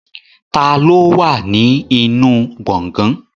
Ta ló wà ní inú gbọ̀gán?